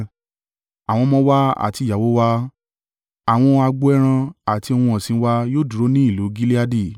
Àwọn ọmọ wa àti ìyàwó wa, àwọn agbo ẹran àti ohun ọ̀sìn wa yóò dúró ní ìlú Gileadi.